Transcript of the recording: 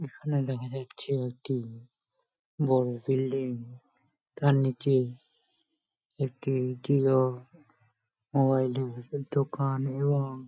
এখানে দেখা যাচ্ছে একটি বড় বিল্ডিং তার নিচে একটি জিও মোবাইল -এর দোকান এবং--